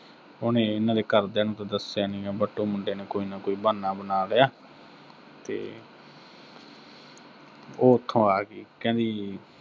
ਉਹਨੇ ਇਨ੍ਹਾਂ ਦੇ ਘਰ ਦਿਆਂ ਨੂੰ ਤਾਂ ਦੱਸਿਆ ਨੀਂ, but ਉਹ ਮੁੰਡੇ ਨੇ ਕੋਈ ਨਾ ਕੋਈ ਬਹਾਨਾ ਬਣਾ ਲਿਆ, ਤੇ ਉਹ ਉਥੋਂ ਆ ਗੀ, ਕਹਿੰਦੀ